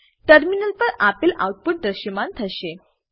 terminal પર આપેલ output દ્રશયમાન થશે